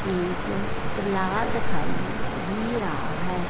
एक तला दिखाई भी रहा है।